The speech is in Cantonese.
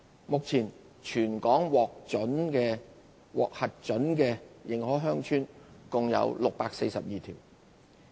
目前全港獲核准的認可鄉村共642條。